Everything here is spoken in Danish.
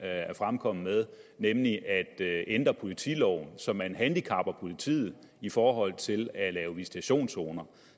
er fremkommet med nemlig at ændre politiloven så man handicapper politiet i forhold til at lave visitationszoner